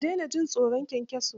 Kar dena jin tsoron kyankyason.